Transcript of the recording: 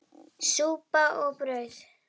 Súpa og brauð.